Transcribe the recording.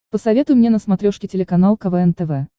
посоветуй мне на смотрешке телеканал квн тв